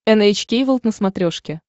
эн эйч кей волд на смотрешке